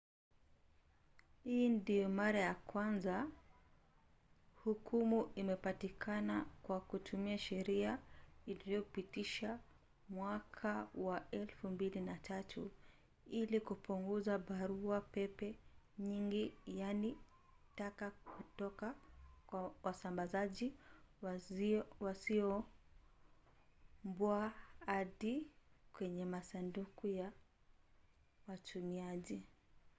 hii ndio mara ya kwanza hukumu imepatikana kwa kutumia sheria iliyopitishwa mwaka wa 2003 ili kupunguza barua-pepe nyingi yaani taka kutoka kwa wasambazaji wasioombwa hadi kwenye masanduku ya watumiaji